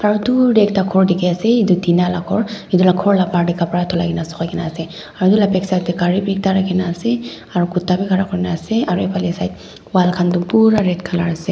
dur tae ekta khor dikhiase edu tina la khor edu la khor la bahar tae kapra dhulai na sukai na ase aru edu la backside tae gari bi ekta rakhina ase aro kuta bi khara kurina ase aro efanae side wall khan toh pura red colour ase.